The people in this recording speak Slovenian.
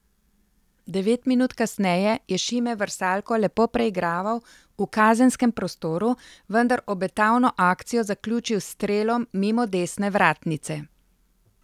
Devet minut kasneje je Šime Vrsaljko lepo preigraval v kazenskem prostoru, vendar obetavno akcijo zaključil s strelom mimo desne vratnice.